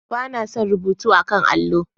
Ba na son rubutu a 'kan allo.